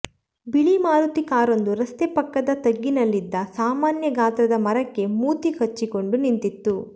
ಬಿಳಿ ಮಾರುತಿ ಕಾರೊಂದು ರಸ್ತೆ ಪಕ್ಕದ ತಗ್ಗಿನಲ್ಲಿದ್ದ ಸಾಮಾನ್ಯ ಗಾತ್ರದ ಮರಕ್ಕೆ ಮೂತಿ ಹಚ್ಚಿಕೊಂಡು ನಿಂತಿತ್ತು